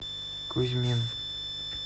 кузьмин